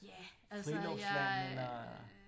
Ja altså jeg øh